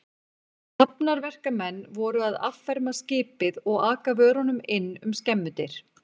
Hafnarverkamenn voru að afferma skipið og aka vörunum inn um skemmudyr.